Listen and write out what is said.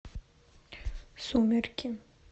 сумерки